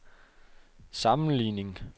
sammenligning